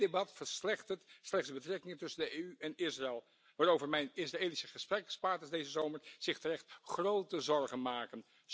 Dit debat verslechtert slechts de betrekkingen tussen de EU en Israël, waarover mijn Israëlische gesprekspartners deze zomer zich terecht grote zorgen maken.